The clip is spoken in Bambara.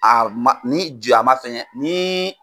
A man ni man fɛngɛ ni